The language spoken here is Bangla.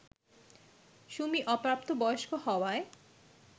সুমি অপ্রাপ্ত বয়স্ক হওয়ায়